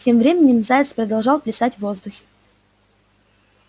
тем временем заяц продолжал плясать в воздухе